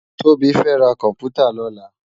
Tobi fè rá kòmpútá lòlá